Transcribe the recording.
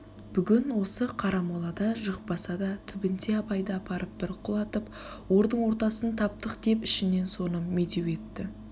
бүгін осы қарамолада жықпаса да түбінде абайды апарып бір құлататып ордың ортасын таптық деп ішінен соны медеу етті